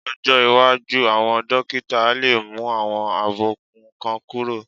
Lọ́jọ́ iwájú, àwọn dókítà á lè mú àwọn àbùkù kan kúrò